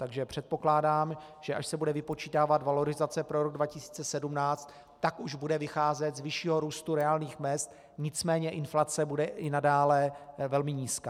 Takže předpokládám, že až se bude vypočítávat valorizace pro rok 2017, tak už bude vycházet z vyššího růstu reálných mezd, nicméně inflace bude i nadále velmi nízká.